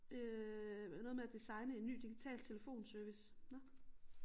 Øh noget med at designe en ny digital telefonservice